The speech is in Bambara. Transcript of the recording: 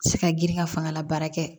Se ka girin ka fangala baara kɛ